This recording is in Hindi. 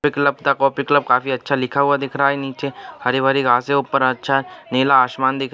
दुर्लभ का कॉफी क्लब काफी अच्छा लिखा हुआ दिख रहा है नीचे हर-भाभी घास है ऊपर अच्छा है नीला आसमान देखकर--